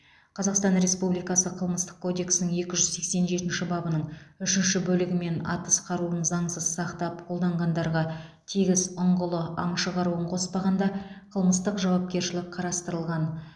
қазақстан республикасы қылмыстық кодексінің екі жүз сексен жетінші бабының үшінші бөлігімен атыс қаруын заңсыз сақтап қолданғандарға тегіс ұңғылы аңшы қаруын қоспағанда қылмыстық жауапкершілік қарастырылған